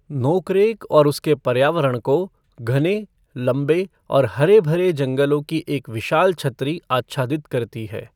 नोकरेक और उसके पर्यावरण को घने, लंबे और हरे भरे जंगलों की एक विशाल छत्री आच्छादित करती है।